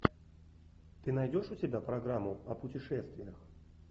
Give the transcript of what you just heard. ты найдешь у себя программу о путешествиях